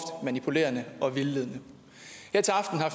manipulerende og vildledende